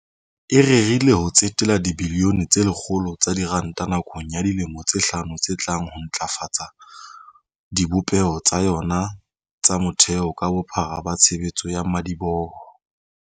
e rerile ho tsetela dibilione tse lekgolo tsa diranta nakong ya dilemo tse hlano tse tlang ho ntlafatseng dibopeho tsa yona tsa motheo ka bophara ba tshebetso ya madiboho.